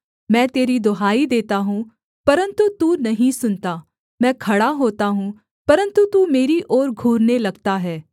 मैं तेरी दुहाई देता हूँ परन्तु तू नहीं सुनता मैं खड़ा होता हूँ परन्तु तू मेरी ओर घूरने लगता है